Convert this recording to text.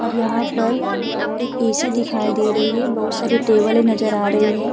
और यहाँ पर एक एसी दिखाई दे रही है। बहोत सारे टेबलें नजर आ रही है।